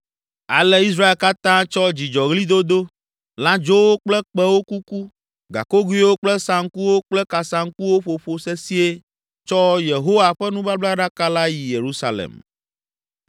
Ale Israel katã tsɔ dzidzɔɣlidodo, lãdzowo kple kpẽwo kuku, gakogoewo kple saŋkuwo kple kasaŋkuwo ƒoƒo sesĩe tsɔ Yehowa ƒe nubablaɖaka la yi Yerusalem.